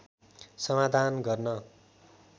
समाधान गर्न